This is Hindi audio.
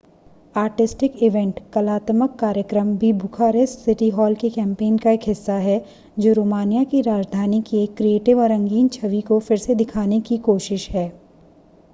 आर्टिस्टिक इवेंट कलात्मक कार्यक्रम भी बुखारेस्ट सिटी हॉल के कैंपेन का एक हिस्सा है जो रोमानिया की राजधानी की एक क्रिएटिव और रंगीन छवि को फिर से दिखाने की कोशिश है